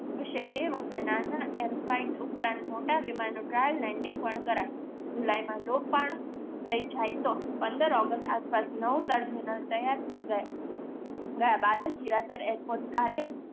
હશે તે વખતે નાના air fight ઉપરાંત મોટા વિમાનનું trial landing પણ કરાશે. જુલાઈમાં લોકપર્ણ થઈ જાય તો પંદર ઓગસ્ટ આસપાસ નવું ટર્મિનલ તૈયાર થઈ જાય ગયા બાદ જ હીરાસર એરપોર્ટ કાર્ય